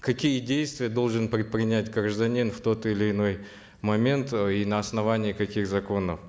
какие действия должен предпринять гражданин в тот или иной момент э и на основании каких законов